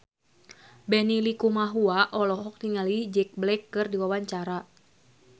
Benny Likumahua olohok ningali Jack Black keur diwawancara